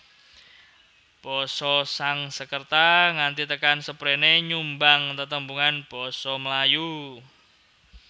Basa Sanskerta nganti tekan sepréné nyumbang tetembungan Basa Melayu